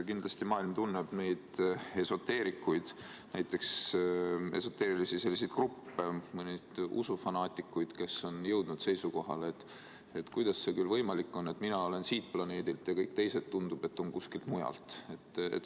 Kindlasti tunneb maailm esoteerikuid, esoteerilisi gruppe, usufanaatikuid, kes on jõudnud seisukohale, et kuidas see võimalik on, et mina olen siit planeedilt, aga kõik teised, tundub, on kuskilt mujalt.